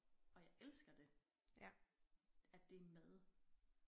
Og jeg elsker det at det er med